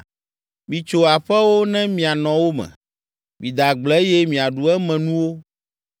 “Mitso aƒewo ne mianɔ wo me, mide agble eye miaɖu emenuwo.